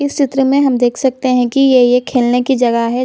इस चित्र में हम देख सकते है की ये ये खेलने के जगह है।